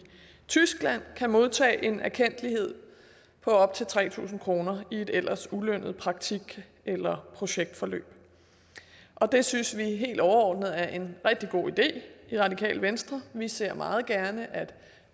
tyskland kan modtage en erkendtlighed på op til tre tusind kroner i et ellers ulønnet praktik eller projektforløb det synes vi helt overordnet er en rigtig god idé i det radikale venstre vi ser meget gerne at